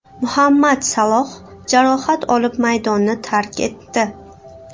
Muhammad Saloh jarohat olib maydonni tark etdi.